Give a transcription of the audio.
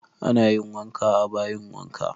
Ana yin wanka a bayin wanka